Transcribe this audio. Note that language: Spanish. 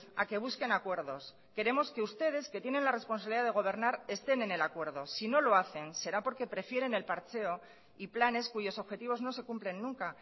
a que busquen acuerdos queremos que ustedes que tienen la responsabilidad de gobernar estén en el acuerdo si no lo hacen será porque prefieren el parcheo y planes cuyos objetivos no se cumplen nunca